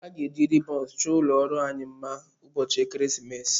A ga-eji ribons chọọ ụlọ ọrụ anyị mma ụbọchị ekeresimesi a.